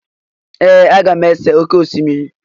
Ee! Aga m ese oké osimiri.